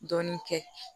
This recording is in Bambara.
Dɔɔnin kɛ